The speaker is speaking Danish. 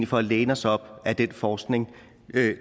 for at læne os op ad den forskning